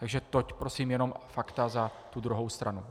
Takže toť prosím jenom fakta za tu druhou stranu.